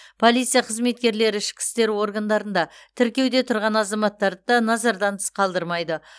полиция қызметкерлері ішкі істер органдарында тіркеуде тұрған азаматтарды да назардан тыс қалдырмайды